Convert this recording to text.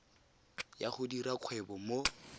ya go dira kgwebo mo